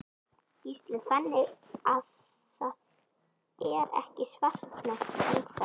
Gísli: Þannig að það er ekki svartnætti enn þá?